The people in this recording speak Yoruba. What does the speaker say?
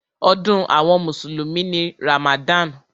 Ọdún àwọn mùsùlùmí ni Ramadan.